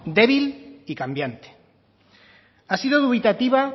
débil y cambiante ha sido dubitativa